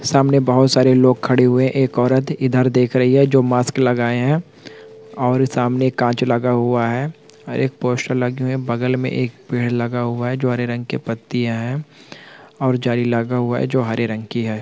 सामने बहोत सारे लोग खड़े हुए है एक औरत इधर देख रही है जो मास्क लगाए है और सामने कांच लगा हुआ है और एक पोस्टर लगे हुए है बगल में एक पेड़ लगा हुआ है जो हरे रंग के पत्तिया है और जाली लगा हुआ जो हरे रंग की हैं।